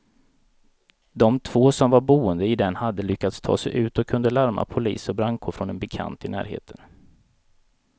De två som var boende i den hade lyckats ta sig ut och kunde larma polis och brandkår från en bekant i närheten.